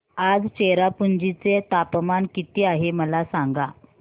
आज चेरापुंजी चे तापमान किती आहे मला सांगा